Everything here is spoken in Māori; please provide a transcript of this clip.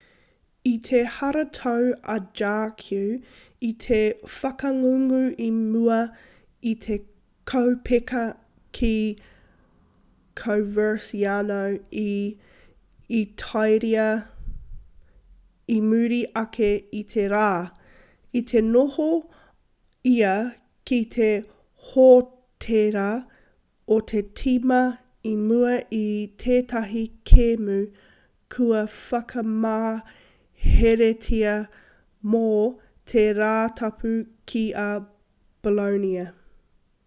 i te haratau a jargue i te whakangungu i mua i te kaupeka ki coverciano i itāria i muri ake i te rā i te noho ia ki te hōtēra o te tīma i mua i tētahi kēmu kua whakamaheretia mō te rātapu ki a bolonia